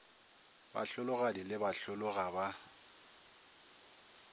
bahlologadi le bahlolo ga ba